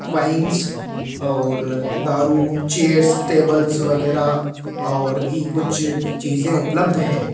Wines और दारू chairs tables वगैरा और भी कुछ चीजें उपलब्ध है।